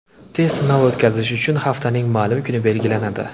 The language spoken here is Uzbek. Test sinovi o‘tkazish uchun haftaning ma’lum kuni belgilanadi.